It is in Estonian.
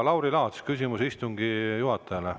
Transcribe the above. Lauri Laats, küsimus istungi juhatajale.